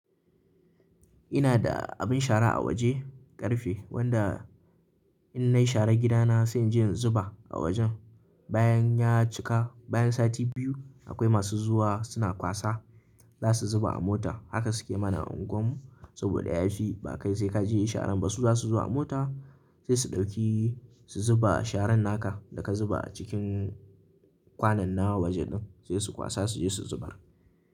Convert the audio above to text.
Ina da abin shara a waje ƙarfe wanda in na yi shara gidana sai jin zuba a wajen. Bayan ya cika bayan sati biyu akwai masu zuwa suna kwasa za su zuba a mota. Haka suke mana a unguwarmu saboda ya fi. Ba kai sai ka je yi sharan ba, su za su zo a mota, sai su ɗauki su zuba sharan naka da ka zuba a cikin kwanan na waje ɗin, sai su kwasa su je su zubar.